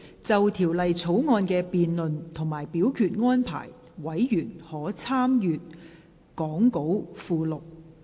就條例草案的辯論及表決安排，委員可參閱講稿附錄。